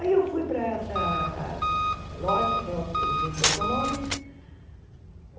Aí eu fui para essa loja de au que vendia automóveis.